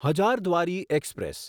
Hazarduari express